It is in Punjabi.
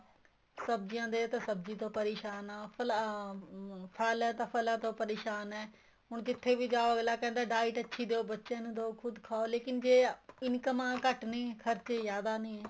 ਸਬਜੀਆਂ ਦੇ ਸਬਜੀਆਂ ਤੋ ਪਰੇਸ਼ਾਨ ਹਾਂ ਫਲਾਂ ਅਹ ਫਲ ਹੈ ਤਾਂ ਫਲਾਂ ਤੋ ਪਰੇਸ਼ਾਨ ਏ ਹੁਣ ਜਿੱਥੇ ਵੀ ਜਾਹੋ ਅੱਗਲਾ ਕਹਿੰਦਾ diet ਅੱਛੀ ਦੇਹੋ ਬੱਚੇ ਨੂੰ ਦੋ ਖੁੱਦ ਖਾਓ ਲੇਕਿਨ ਜ਼ੇ ਇਨਕੰਮਾਂ ਘੱਟ ਨੇ ਖਰਚੇ ਜਿਆਦਾ ਨੇ